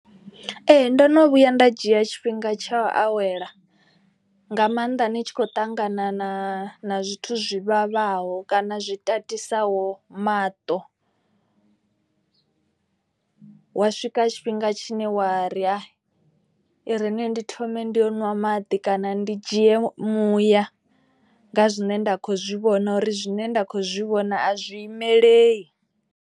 Ee ndo no vhuya nda dzhia tshifhinga tsha u awela nga maanḓa ni tshi khou ṱangana na na zwithu zwi vhavhaho. Kana zwi tatisaho maṱo hwa swika tshifhinga tshine wa ri hai i rini ndi thome ndi u ṅwa maḓi kana ndi dzhie muya. Nga zwine nda kho zwi vhona uri zwine nda kho zwi vhona a zwi imeleli.